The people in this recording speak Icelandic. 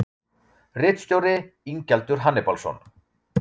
Ritstjóri: Ingjaldur Hannibalsson.